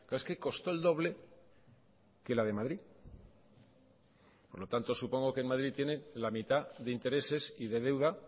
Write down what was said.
es que costó el doble que la de madrid por lo tanto supongo que en madrid tienen la mitad de intereses y de deuda